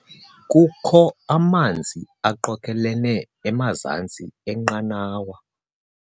Kukho amanzi aqokelelene emazantsi enqanawa.